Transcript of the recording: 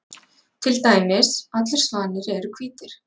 Til dæmis: Allir svanir eru hvítir.